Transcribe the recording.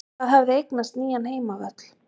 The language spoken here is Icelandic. Það hafði eignast nýjan heimavöll.